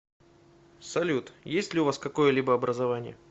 салют есть ли у вас какое либо образование